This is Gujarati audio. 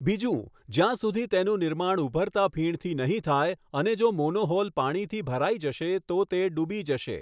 બીજું, જ્યાં સુધી તેનું નિર્માણ ઊભરતા ફીણથી નહીં થાય, અને જો મોનોહોલ પાણીથી ભરાઈ જશે તો તે ડૂબી જશે.